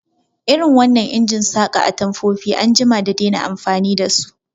Irin wannan injin saƙa atamfofin an jima da dena amfani dasu